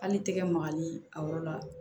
Hali tɛgɛ magali a yɔrɔ la